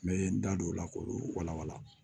N bɛ n da don o la k'olu walawala